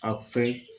A fɛ